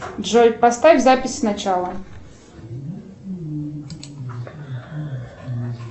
джой поставь запись сначала